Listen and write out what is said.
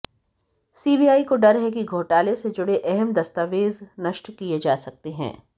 CBI को डर है कि घोटाले से जुड़े अहम दस्तावेज नष्ट किए जा सकते हैं